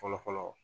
Fɔlɔfɔlɔ